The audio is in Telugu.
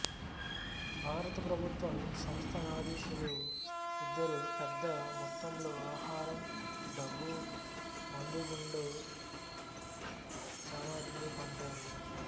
భారత ప్రభుత్వం సంస్థానాధీశులు ఇద్దరూ పెద్ద మొత్తంలో ఆహారం డబ్బు మందుగుండు సామగ్రినీ పంపారు